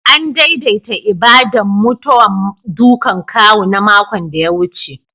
An daidaita ibada'n mutawan ɗukan kawu na makon da ya wuce.